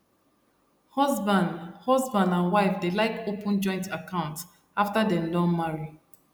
husband husband and wife dey like open joint account after dem don marry